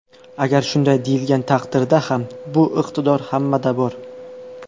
Agar shunday deyilgan taqdirda ham bu iqtidor hammada bor.